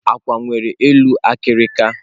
Akwu nwere eluulọ akịrịka